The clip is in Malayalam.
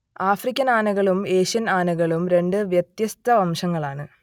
ആഫ്രിക്കൻ ആനകളും ഏഷ്യൻ ആനകളും രണ്ട് വ്യത്യസ്ത വംശങ്ങളാണ്